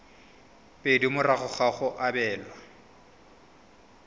pedi morago ga go abelwa